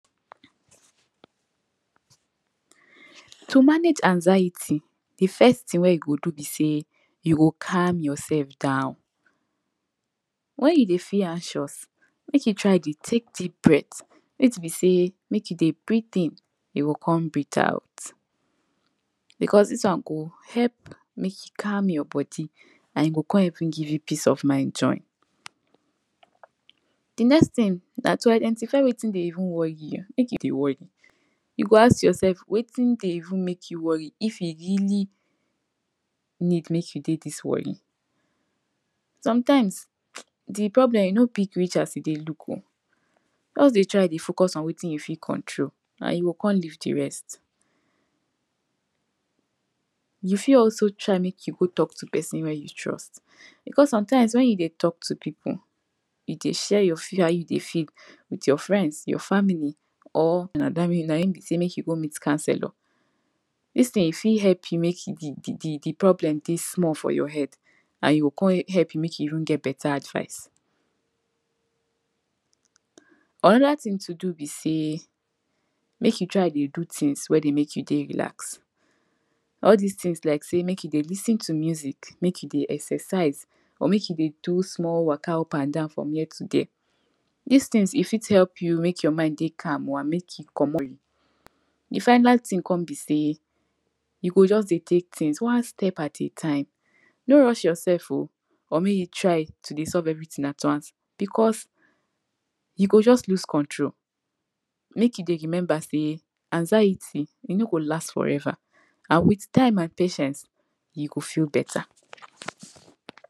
to manage anxiety the first tin wey you go do be say you go calm yourself down wen you dey feel anxious make you try dey take deep breath breathe be sey make you dey breathe in jou go come breathe out because this wan go help mek e calm your body an e go come even give you peace of mind join the next tin na to identify wetin dey even worry you you make you dey worry you go ask yourself wetin dey even make you worry if e jou really need make you dey this worried sometimes dey problem e no big reach as e look oh just dey try focus on wetin you fit control and e go come leave the rest you fit also try make you talk to person wey you trust because sometimes wen you dey talk to people you dey say your fear how you dey feel with your frends, your family or na him be make you go meet councelor this tin e fit help you make the problem dey small for your head an e go come help you make you even get beta advice anoda tin to do be sey make you try dey do tins wey dey make you dey relaxed all this tins like sey make you dey lis ten to music make you dey exercise or make you dey do small waka up and down from here to there this tins e fit help you make your mind dey calm or make you comot dey final tin come be sey you go just dey take tins one step at a time no rush yourself oh or make you try to dey solve everytin at once, because you go just lose control make you dey remember sey anxiety, e no go last forever an with time an patience yiu go feel beta